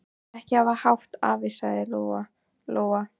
Ekki hafa hátt, afi, sagði Lóa Lóa.